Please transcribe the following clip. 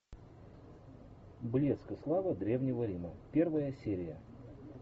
блеск и слава древнего рима первая серия